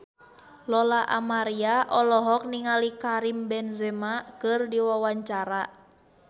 Lola Amaria olohok ningali Karim Benzema keur diwawancara